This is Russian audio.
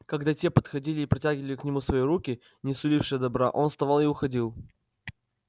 когда те подходили и протягивали к нему свои руки не сулившие добра он вставал и уходил